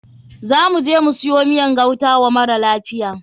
Za muje mu siyo miyan gauta wa mara lafiyan.